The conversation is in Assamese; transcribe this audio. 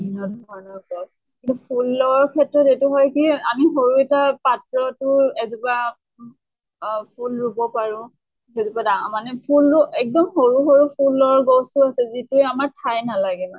বিভিন্ন ধৰণৰ গছ কিন্তু ফুলৰ ক্ষেত্ৰত এইটো হয় কি সৰু এটা পাত্ৰতো এজোপা আহ ফুল ৰোব পাৰো। সেইজোপা ডা মানে ফুলো এক্দম সৰু সৰু ফুলৰ গছো আছে যিতে আমাৰ ঠাই নালাগে মানে।